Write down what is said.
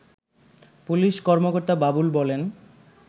police কর্মকর্তা বাবুল বলেন